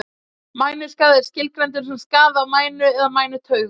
Mænuskaði er skilgreindur sem skaði á mænu eða mænutaugum.